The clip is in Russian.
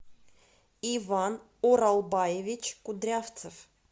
иван уралбаевич кудрявцев